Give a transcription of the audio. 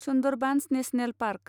Sundarbans national park